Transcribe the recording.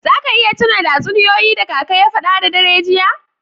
Za ka iya tuna da tatsuniyoyi da kaka ya fada da dare jiya?